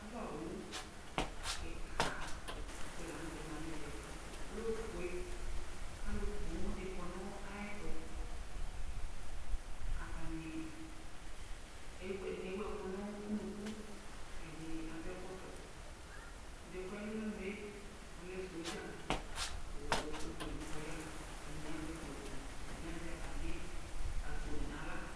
Ava owu kika di la nʋ tɛ ma nʋ ɛvɛ Ɔlɛ ofue, kʋ alu poo dini kɔnʋ ayɛtʋ Atani, ɛdɩnɩ ewu ɛkʋ nʋ unuku, ɛdɩnɩ adu ɛkɔtɔ Ɛdɩ yɛ kʋ ɔya nʋ alɔnʋ yɛ, ɔlɛ sɔdza, kʋ ewledu kʋ ɔya Ɛdɩnɩ azɛ kpoti, ɛdɩnɩ azɛ atami akponi nʋ aɣla